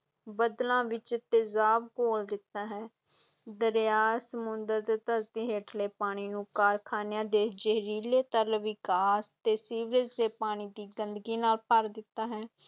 ਬੱਦਲਾਂ ਵਿਚ ਤੇਜ਼ਾਬ ਘੋਲ ਦਿੱਤਾ ਹੈ ਦਰਿਆ, ਸਮੁੰਦਰ ਤੇ ਧਰਤੀ ਹੇਠਲੇ ਪਾਣੀ ਨੂੰ ਕਾਰਖਾਨਿਆਂ ਦੇ ਜ਼ਹਿਰੀਲੇ ਤਰਲ ਵਿਕਾਸ ਤੇ ਸੀਵਰੇਜ ਦੇ ਪਾਣੀ ਦੀ ਗੰਦਗੀ ਨਾਲ ਭਰ ਦਿੱਤਾ ਹੈ।